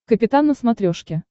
капитан на смотрешке